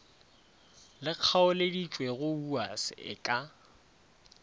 le kgaoleditšwego wuas e ka